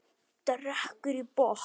Drekkur í botn.